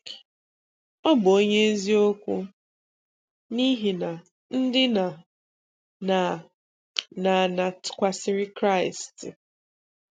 Ọ bụ onye eziokwu n’ihi na ndị na-na na na tụkwàsìrì Kraịst.